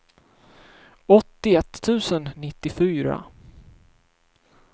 åttioett tusen nittiofyra